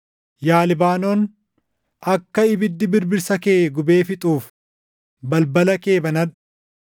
Yaa Libaanoon, akka ibiddi birbirsa kee gubee fixuuf balbala kee banadhu!